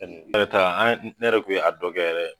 ne yɛrɛ ta ne yɛrɛ tun ye a dɔ kɛ yɛrɛ.